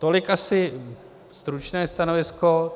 Tolik asi stručné stanovisko.